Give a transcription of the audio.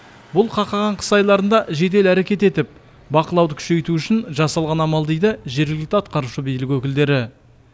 бұл қақаған қыс айларында жедел әрекет етіп бақылауды күшейту үшін жасалған амал дейді жергілікті атқарушы билік өкілдері